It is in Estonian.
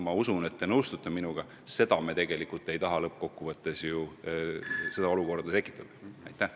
Küllap te nõustute minuga, et sellist olukorda me tegelikult lõppkokkuvõttes tekitada ei taha.